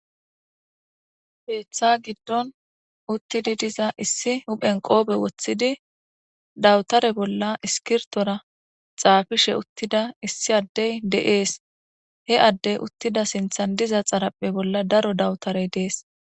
Ketha gidon uttidi diza issi huphe qope wothidi dabutera bolla iskirtora xafishe uttida issi Adey de'es he adey uttida xaraphe bolla daro dabuterayi des